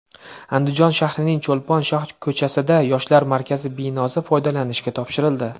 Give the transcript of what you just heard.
Andijon shahrining Cho‘lpon shohko‘chasida Yoshlar markazi binosi foydalanishga topshirildi.